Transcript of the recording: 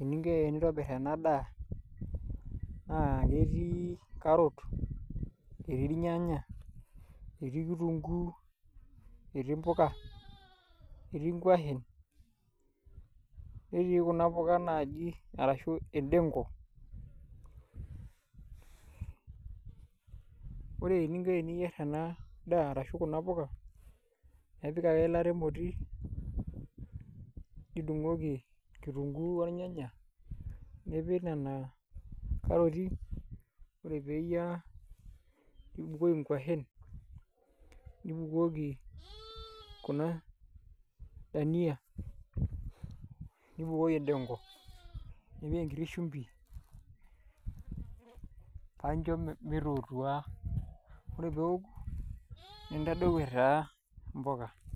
eninko tenintobirr ena daa, naa ketii [c] carrot [c], etii ilnyanya, etii kirunguu, etii impuka, etii inkuashen, netii kuna puka naaji, arashu endengu, wore eninko teniyierr ena daa arashu kuna puka, ipik ake eilata emoti, nidungoki kirunguu ornyanya, nipik niana karoti peeyiara, nibukoki inkuashen, nibukoki kuna dania, nibukoki endengo, nipik enkiti shumbi, paa injo mitootua, wore pee eaku nintadou etaa impukaa.